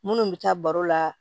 Minnu bɛ taa baro la